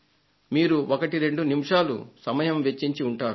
మీరు ఒకటి రెండు నిమిషాలు సమయం వెచ్చించి ఉంటారు